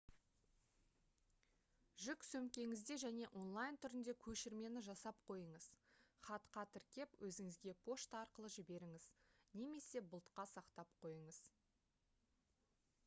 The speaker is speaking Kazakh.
жүк сөмкеңізде және онлайн түрінде көшірмені жасап қойыңыз хатқа тіркеп өзіңізге пошта арқылы жіберіңіз немесе бұлтқа сақтап қойыңыз